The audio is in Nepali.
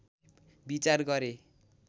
विचार गरे